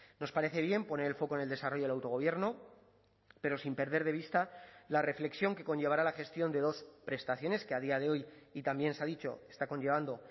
nos parece bien poner el foco en el desarrollo del autogobierno pero sin perder de vista la reflexión que conllevará la gestión de dos prestaciones que a día de hoy y también se ha dicho está conllevando